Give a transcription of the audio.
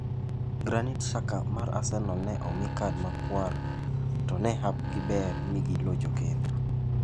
Granit Xhaka mar Arsenal ne omi kad makwar to ne hapgi ber mi gilocho kendo.